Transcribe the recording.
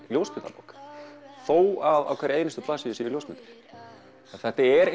ljósmyndabók þó að á hverri einustu blaðsíðu séu ljósmyndir þetta er